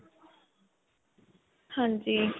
ਹਾਂਜੀ.